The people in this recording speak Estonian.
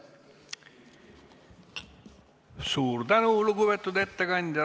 Suur tänu, lugupeetud ettekandja!